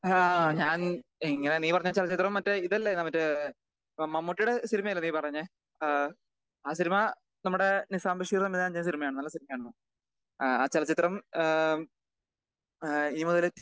ആഹ് ഞാൻ ഇങ്ങനെ നീ പറഞ്ഞ ചലച്ചിത്രം മറ്റേ ഇതെല്ലടാ മറ്റേ മ മമ്മൂട്ടിയുടെ സിനിമ അല്ലേ നീ പറഞ്ഞേ? ഏഹ് ആഹ് സിനിമ നമ്മുടെ നിസാം ബഷീർ സിനിമയായിരുന്നു. നല്ല സിനിമയായിരുന്നു. ആ ചലച്ചിത്രം ഏഹ് ഏഹ് ഇനി മുതൽ ടി വി യിൽ